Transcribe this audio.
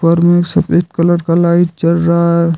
ऊपर में सफेद कलर का लाइट जल रहा है।